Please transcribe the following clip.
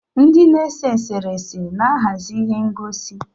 Ndị na-ese eserese na-ahazi ihe ngosi.